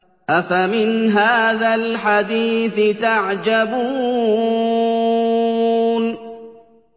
أَفَمِنْ هَٰذَا الْحَدِيثِ تَعْجَبُونَ